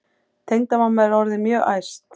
Tengdamamma er orðin mjög æst.